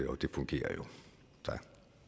og det fungerer jo tak